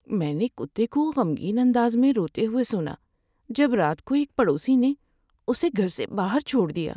میں نے کتے کو غمگین انداز میں روتے ہوئے سنا جب رات کو ایک پڑوسی نے اسے گھر سے باہر چھوڑ دیا۔